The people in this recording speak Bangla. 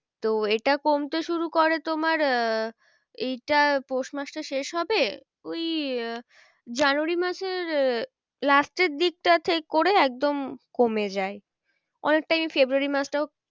তো এটা কমতে শুরু করে তোমার আহ এটা পৌষ মাসটা শেষ হবে ওই আহ জানুয়ারি মাসের আহ last এর দিকটাতে করে একদম কমে যায় অনেক time ফেব্রুয়ারী মাসটাও